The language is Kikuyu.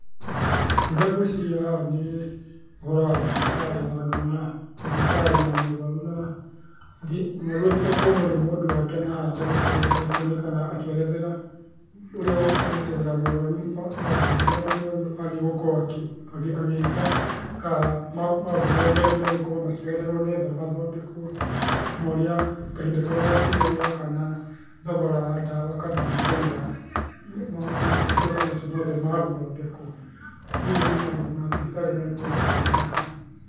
Ũndũ ũrĩa gwĩciria haha nĩ ũhoro wa thibitarĩ na ngona ndagĩtarĩ na mũrwaru athiĩte kuonwo nĩ mũndũ wake na haha ndagĩtarĩ nĩekuonekana akĩerethera ũrĩa ũkĩte gũcerera mũrwaru maũndũ marĩa mũrwaru agĩĩ gukorwo agĩika ka maũndũ marĩa megũkorwo makĩũererwo nĩgetha athondekire, na kahinda karĩa angĩoya kana thogora wa ndawa kana bei ya motungata macio mothe ma gũthondekwo. Ũguo nĩ maũndũ ma thibitarĩ mekuonekana haha.